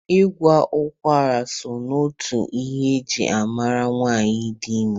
Ịkwa ụkwara so n'otu ihe eji ama nwaanyị dị ime.